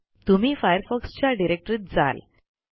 तुम्ही Firefoxच्या डिरेक्टरीत जाल